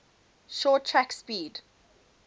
short track speed